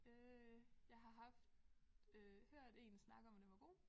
Øh jeg har haft øh hørt én snakke om at den var god